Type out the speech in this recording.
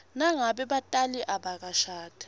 nangabe batali abakashadi